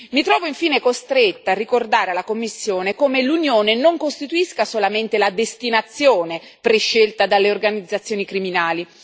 Mi trovo infine costretta a ricordare alla Commissione come l'Unione non costituisca solamente la destinazione prescelta dalle organizzazioni criminali